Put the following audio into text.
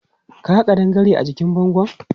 Ka ga ƙadangare a jikin bangon?